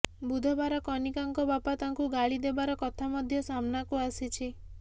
ବୁଧବାର କନିକାଙ୍କ ବାପା ତାଙ୍କୁ ଗାଳି ଦେବାର କଥା ମଧ୍ୟ ସାମନାକୁ ଆସିଛି